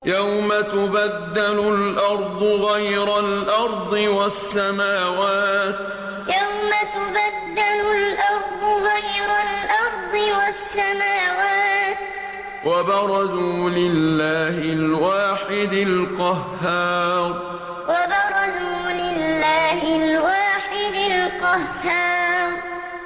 يَوْمَ تُبَدَّلُ الْأَرْضُ غَيْرَ الْأَرْضِ وَالسَّمَاوَاتُ ۖ وَبَرَزُوا لِلَّهِ الْوَاحِدِ الْقَهَّارِ يَوْمَ تُبَدَّلُ الْأَرْضُ غَيْرَ الْأَرْضِ وَالسَّمَاوَاتُ ۖ وَبَرَزُوا لِلَّهِ الْوَاحِدِ الْقَهَّارِ